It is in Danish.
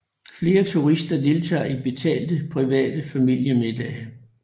Flere turister deltager i betalte private familiemiddage